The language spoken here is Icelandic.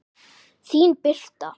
Þín Birta.